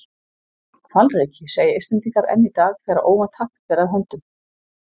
Hvalreki, segja Íslendingar enn í dag þegar óvænt happ ber að höndum.